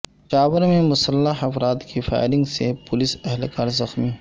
پشاور میں مسلح افراد کی فائرنگ سے پولیس اہلکار زخمی